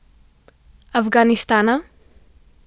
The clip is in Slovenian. Afganistana?